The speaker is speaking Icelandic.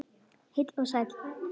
Heill og sæll.